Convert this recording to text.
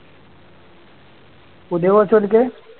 പുതിയ coach ആ ഓര്ക്ക്